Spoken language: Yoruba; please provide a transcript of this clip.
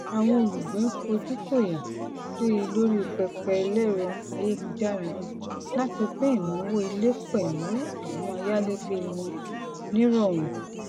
àwọn olùgbé ń fojú fóyà síi lórí pẹpẹ ẹlẹrọ ayélujára láti pín ináwó ilé pẹlú àwọn ayalegbe wọn ní rọọrun